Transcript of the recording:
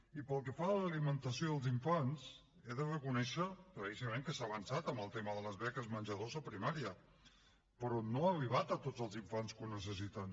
i pel que fa a l’alimentació dels infants he de reconèixer claríssimament que s’ha avançat en el tema de les beques menjador a primària però no ha arribat a tots els infants que ho necessiten